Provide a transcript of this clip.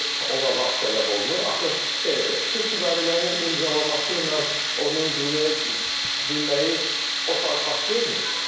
İndi ona vaxt tələb olunur, axı sülh müqaviləsinin imzalaması ilə onun qüvvəyə minməyi o saat baş vermir.